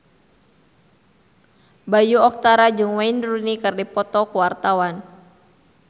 Bayu Octara jeung Wayne Rooney keur dipoto ku wartawan